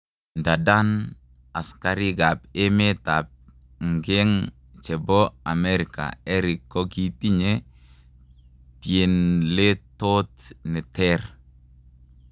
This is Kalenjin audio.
Ndadan askarik ap emet ap ngeng chepo amerika Erick kokitinye tienletot ne ter.